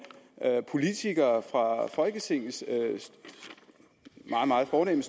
politikere fra folketingets meget meget fornemme